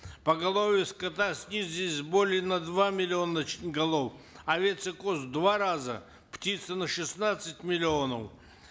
поголовья скота снизились более на два миллиона значит голов овец и коз в два раза птицы на шестнадцать миллионов